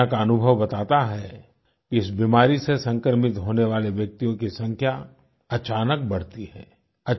दुनिया का अनुभव बताता है कि इस बीमारी से संक्रमित होने वाले व्यक्तियों कि संख्या अचानक बढती है